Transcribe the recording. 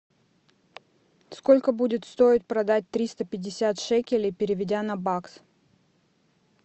сколько будет стоить продать триста пятьдесят шекелей переведя на бакс